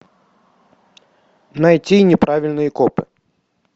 найти неправильный коп